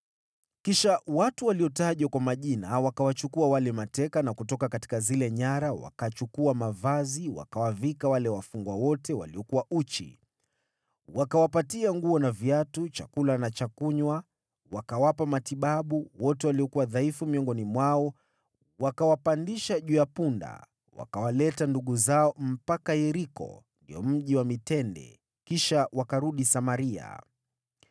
Kisha watu waliotajwa kwa majina wakawachukua wale mateka na kutoka zile nyara, wakachukua mavazi wakawavika wale wafungwa wote waliokuwa uchi. Wakawapatia nguo na viatu, chakula na cha kunywa, wakawapa matibabu, wote waliokuwa dhaifu miongoni mwao wakawapandisha juu ya punda, wakawaleta ndugu zao mpaka Yeriko, ndio Mji wa Mitende, kisha wakarudi Samaria.